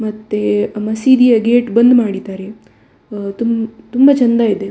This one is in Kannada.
ಮತ್ತೆ ಆ ಮಸೀದಿಯ ಗೇಟ್‌ ಬಂದ್‌ ಮಾಡಿದ್ದಾರೆ ಅಹ್ ತುಂ ತುಂಬ ಚಂದ ಇದೆ.